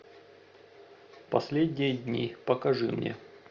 последние дни покажи мне